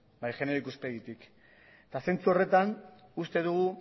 bai genero ikuspegitik eta zentzu horretan uste dugu